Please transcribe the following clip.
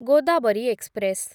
Godavari express